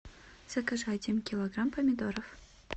закажи один килограмм помидоров